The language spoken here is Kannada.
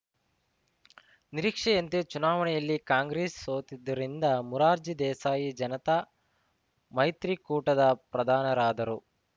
ನಿರೀಕ್ಷೆಯಂತೆ ಚುನಾವಣೆಯಲ್ಲಿ ಕಾಂಗ್ರೆಸ್‌ ಸೋತಿದ್ದರಿಂದ ಮೊರಾರ್ಜಿ ದೇಸಾಯಿ ಜನತಾ ಮೈತ್ರಿಕೂಟದ ಪ್ರಧಾನರಾದರು